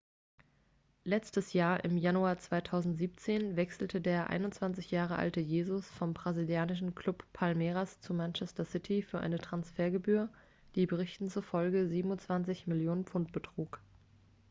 letztes jahr im januar 2017 wechselte der 21 jahre alte jesus vom brasilianischen club palmeiras zu manchester city für eine transfergebühr die berichten zufolge 27 millionen pfund betrug